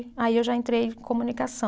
Aí eu já entrei em comunicação.